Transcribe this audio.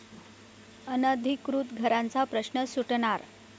अनधिकृत घरांचा प्रश्न सुटणार?